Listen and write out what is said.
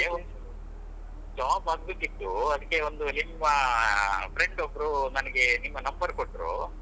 ನಮ್ಗೇ ಒಂದ್ಚೂರು job ಆಗ್ಬೇಕಿತ್ತು ಅದಿಕ್ಕೆ ಒಂದು ನಿಮ್ಮ friend ಒಬ್ರು ನನ್ಗೆ ನಿಮ್ಮ number ಕೊಟ್ರು.